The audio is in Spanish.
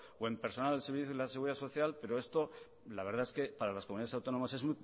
o en personal del servicio de la seguridad social pero esto la verdad es que para las comunidades autónomas es